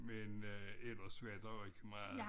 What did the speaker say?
Men øh ellers var der jo ikke meget